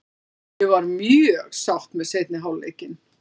Ég var mjög sátt með seinni hálfleikinn.